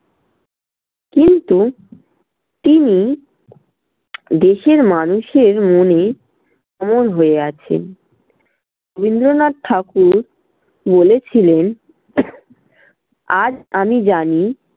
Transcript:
কিন্তু তিনি দেশের মানুষের মনে অমর হয়ে আছেন। রবীন্দ্রনাথ ঠাকুর বলেছিলেন আজ আমি জানি